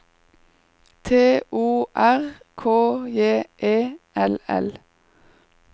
T O R K J E L L